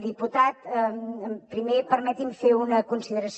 diputat primer permeti’m fer una consideració